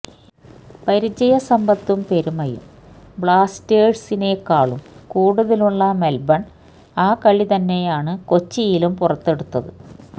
പരിചയസമ്പത്തും പെരുമയും ബ്ലാസ്റ്റേഴ്സിനേക്കാളും കൂടുതലുള്ള മെല്ബണ് ആ കളി തന്നെയാണ് കൊച്ചിയിലും പുറത്തെടുത്തത്